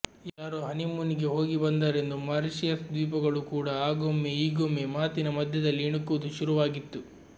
ಯಾರೋ ಹನಿಮೂನಿಗೆ ಹೋಗಿ ಬಂದರೆಂದು ಮಾರಿಷಿಯಸ್ ದ್ವೀಪಗಳೂ ಕೂಡ ಆಗೊಮ್ಮೆ ಈಗೊಮ್ಮೆ ಮಾತಿನ ಮಧ್ಯದಲ್ಲಿ ಇಣುಕುವುದು ಶುರುವಾಗಿತ್ತು